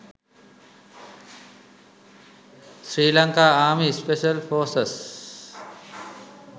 srilanka army special forces